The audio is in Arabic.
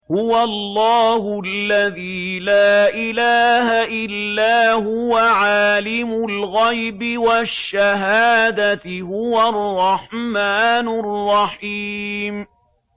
هُوَ اللَّهُ الَّذِي لَا إِلَٰهَ إِلَّا هُوَ ۖ عَالِمُ الْغَيْبِ وَالشَّهَادَةِ ۖ هُوَ الرَّحْمَٰنُ الرَّحِيمُ